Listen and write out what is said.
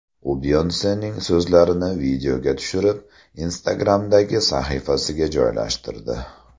U Beyonsening so‘zlarini videoga tushirib, Instagram’dagi sahifasiga joylashtirdi.